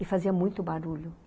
E fazia muito barulho.